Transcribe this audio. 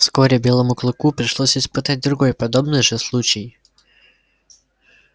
вскоре белому клыку пришлось испытать другой подобный же случай